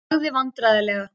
Lalli þagði vandræðalega.